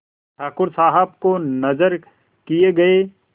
ठाकुर साहब को नजर किये गये